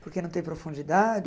Porque não tem profundidade?